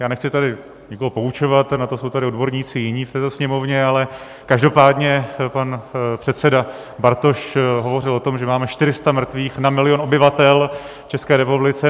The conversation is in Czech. Já nechci tady nikoho poučovat, na to jsou tady odborníci jiní v této Sněmovně, ale každopádně pan předseda Bartoš hovořil o tom, že máme 400 mrtvých na milion obyvatel v České republice.